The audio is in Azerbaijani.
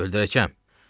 Öldürəcəm.